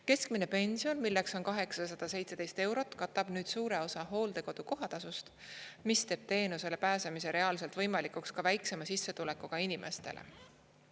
Keskmine pension, milleks on 817 eurot, katab nüüd suure osa hooldekodu kohatasust, mis teeb teenusele pääsemise reaalselt võimalikuks ka väiksema sissetulekuga inimestele.